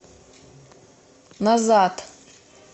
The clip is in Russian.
назад